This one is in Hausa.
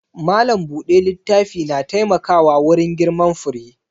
Malam buɗe littafi na taimkawa wurin girman fure